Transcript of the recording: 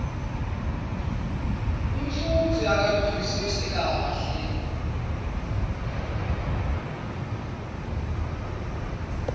umfundzi akaluvisisi kahle